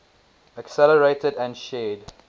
accelerated and shared